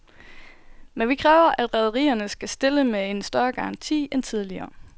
Men vi kræver, at rederierne skal stille med en større garanti end tidligere.